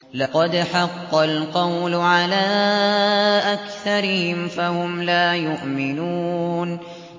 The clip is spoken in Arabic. لَقَدْ حَقَّ الْقَوْلُ عَلَىٰ أَكْثَرِهِمْ فَهُمْ لَا يُؤْمِنُونَ